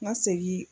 N ka segin